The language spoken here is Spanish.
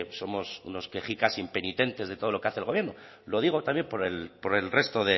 somos unos quejicas impenitentes de todo lo que hace el gobierno lo digo también por el resto